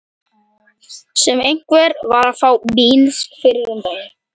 Sem einhver var að fá Nóbelsverðlaunin fyrir um daginn.